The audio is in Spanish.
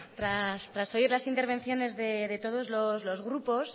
tras oír las intervenciones de todos los grupos